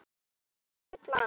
Síðan er ekkert planað.